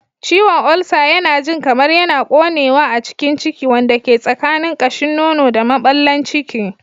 Ciwon ulcer yana jin kamar yana ƙonewa a cikin ciki, wanda ke tsakanin ƙashin nono da maɓallin ciki.